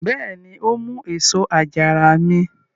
Bẹ́ẹ̀ni, ó mú èso àjàrà mi.